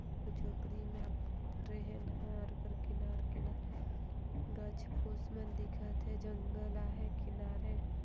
झोपडी में ट्रेन हर ओकर किनारे किनारे गच पुश मन दिखत हे आहाय जंगल आहाय किनारे |